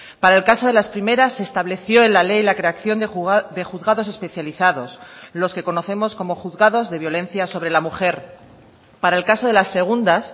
para el caso de las primeras se estableció en la ley la creación de juzgados especializados los que conocemos como juzgados de violencia sobre la mujer para el caso de las segundas